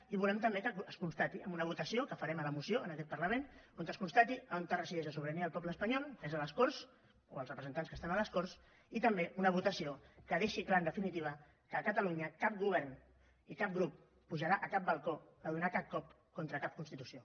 i volem també que es constati en una votació que farem a la moció en aquest parlament on es constati on resideix la sobirania del poble espanyol que és a les corts o els representants que estan a les corts i també una votació que deixi clar en definitiva que a catalunya cap govern i cap grup pujarà a cap balcó a donar cap cop contra cap constitució